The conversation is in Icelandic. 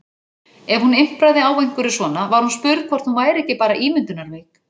Ef hún impraði á einhverju svona var hún spurð hvort hún væri ekki bara ímyndunarveik.